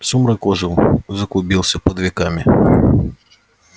сумрак ожил заклубился под веками